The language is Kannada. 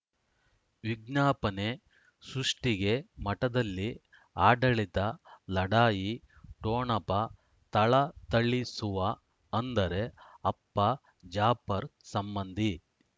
ವಿಜ್ಞಾಪನೆ ಸೃಷ್ಟಿಗೆ ಮಠದಲ್ಲಿ ಆಡಳಿತ ಲಢಾಯಿ ಟೋಣಪ ಥಳಥಳಿಸುವ ಅಂದರೆ ಅಪ್ಪ ಜಾಫರ್ ಸಂಬಂಧಿ